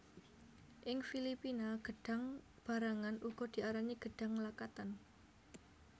Ing Filipina gêdhang barangan uga diarani gêdhang lakatan